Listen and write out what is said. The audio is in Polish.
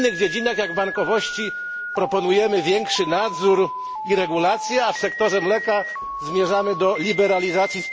W innych dziedzinach, jak w bankowości, proponujemy większy nadzór i regulacje, a w sektorze mleka zmierzamy do liberalizacji.